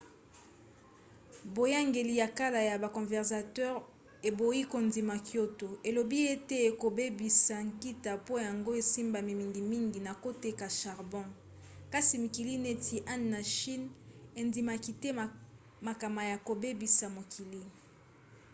boyangeli ya kala ya ba conservateur eboyi kondima kyoto elobi ete ekobebisa nkita po yango esimbami mingimingi na koteka charbon kasi mikili neti inde na chine endimaki te makama ya kobebisa mokili